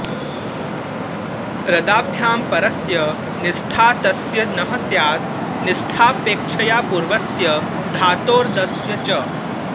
रदाभ्यां परस्य निष्ठातस्य नः स्यात् निष्ठापेक्षया पूर्वस्य धातोर्दस्य च